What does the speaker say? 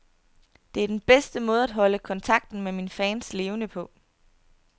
Det er den bedste måde at holde kontakten med mine fans levende på.